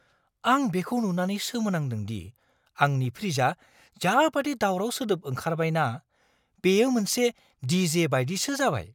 आं बेखौ नुनानै सोमोनांदों दि आंनि फ्रिजआ जाबादि दावराव सोदोब ओंखारबाय ना, बेयो मोनसे डिजे बायदिसो जाबाय!